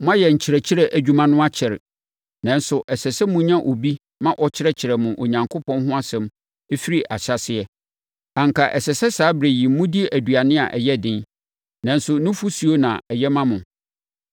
Moayɛ nkyerɛkyerɛ adwuma no akyɛre, nanso ɛsɛ sɛ monya obi ma ɔkyerɛkyerɛ mo Onyankopɔn ho asɛm firi ne ahyɛaseɛ. Anka ɛsɛ sɛ saa ɛberɛ yi modi aduane a ɛyɛ den, nanso nufosuo na ɛyɛ ma mo.